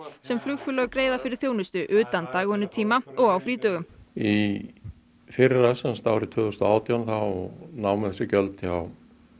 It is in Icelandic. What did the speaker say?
sem flugfélög greiða fyrir þjónustu utan dagvinnutíma og á frídögum í fyrra árið tvö þúsund og átján námu þessi gjöld hjá